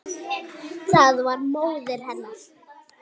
Það var móðir hennar.